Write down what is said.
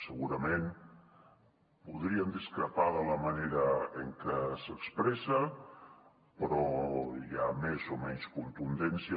segurament podríem discrepar de la manera en que s’expressa si hi ha més o menys contundència